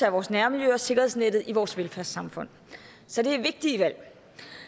af vores nærmiljø og sikkerhedsnettet i vores velfærdssamfund så det er vigtige valg